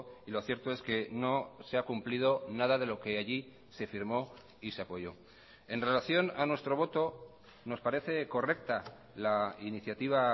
y lo cierto es que no se ha cumplido nada de lo que allí se firmó y se apoyó en relación a nuestro voto nos parece correcta la iniciativa